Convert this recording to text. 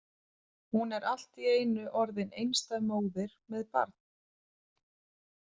Hún er allt í einu orðin einstæð móðir með barn!